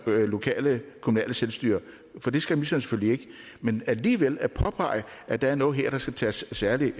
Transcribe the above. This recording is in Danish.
lokale kommunale selvstyre for det skal ministeren selvfølgelig ikke men alligevel påpege at der er noget her der skal tages særlig